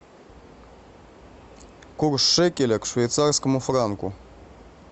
курс шекеля к швейцарскому франку